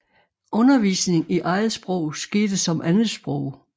Undervisning i eget sprog skete som andet sprog